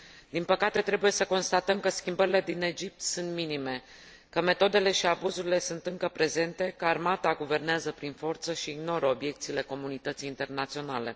Din păcate, trebuie să constatăm că schimbările din Egipt sunt minime, că metodele și abuzurile sunt încă prezente, că armata guvernează prin forță și ignoră obiecțiile comunității internaționale.